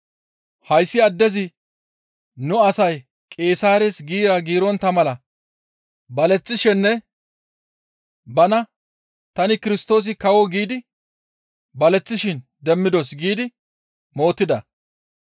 «Hayssi addezi nu asay Qeesaares giira giirontta mala baleththishenne bana, ‹Tani Kirstoosi kawo› giidi baleththishin demmidos» giidi mootida.